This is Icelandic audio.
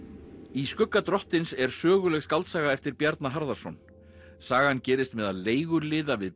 í skugga drottins er söguleg skáldsaga eftir Bjarna Harðarson sagan gerist meðal leiguliða við